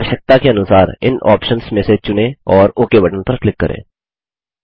अपनी आवश्यकता के अनुसार इन ऑप्शन्स में से चुनें और ओक बटन पर क्लिक करें